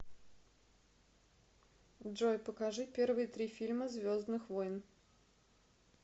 джой покажи первые три фильма звездных войн